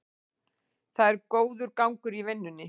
Það er góður gangur í vinnunni